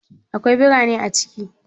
Akwai beraye a ciki?